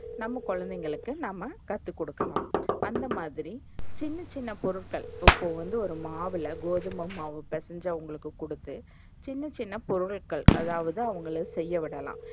நம்ம கொழந்தைகளுக்கு நாம்ம கத்துக்குடுக்கலாம். அந்த மாதிரி, சின்ன சின்ன பொருட்கள் இப்போ வந்து ஒரு மாவுல கோதுமைமாவு பெசஞ்சு அவங்களுக்கு குடுத்து சின்ன சின்ன பொருட்கள் அதாவது, அவங்கள செய்யவிடலாம்.